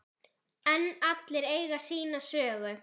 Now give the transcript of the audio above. En allir eiga sína sögu.